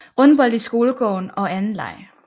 Rundbold i skolegården og anden leg